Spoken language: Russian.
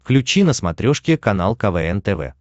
включи на смотрешке канал квн тв